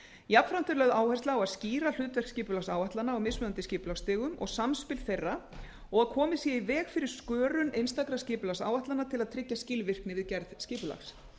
jafnframt er lögð áhersla á að skýra hlutverk skipulagsáætlana á mismunandi skipulagsstigum og samspil þeirra og komið sé í veg fyrir skörun einstakra skipulagsáætlana til að tryggja skilvirkni við gerð skipulags